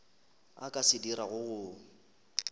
a ka se dirago go